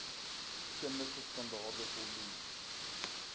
kundige standaarde voldoen